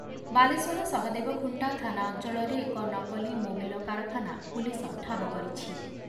ବାଲେଶ୍ଵର ସହଦେବଖୁଣ୍ଟା ଥାନା ଅଞ୍ଚଳରେ ଏକ ନକଲି ମୋବିଲ କାରଖାନା ପୁଲିସ ଠାବ କରିଛି ।